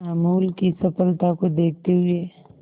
अमूल की सफलता को देखते हुए